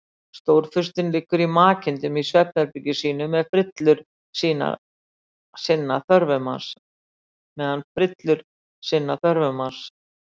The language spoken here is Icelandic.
Stórfurstinn liggur í makindum í svefnherbergi sínu meðan frillur sinna þörfum hans.